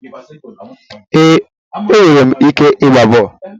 Ee, enwere m ike ịgba bọọlụ.